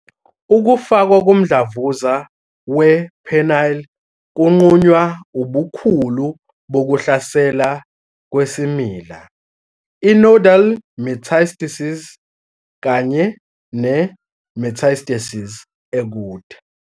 Ukufakwa komdlavuza we-penile kunqunywa ubukhulu bokuhlasela kwesimila, i-nodal metastasis, kanye ne-metastasis ekude.